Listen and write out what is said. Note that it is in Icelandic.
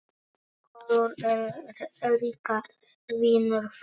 Kolur er líka vinur þeirra.